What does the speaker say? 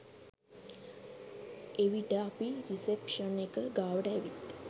එවිට අපි රිසෙප්ෂන් එක ගාවට ඇවිත්